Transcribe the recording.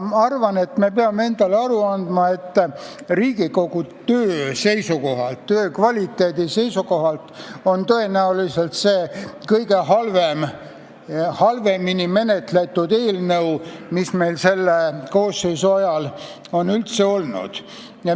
Aga me peame endale aru andma, et Riigikogu töö kvaliteedi seisukohalt on see tõenäoliselt kõige halvemini menetletud eelnõu, mis selle koosseisu ajal on üldse olnud.